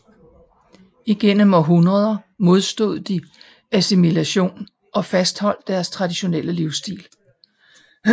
Igennem århundreder modstod de assimilation og fastholdt deres traditionelle livsstil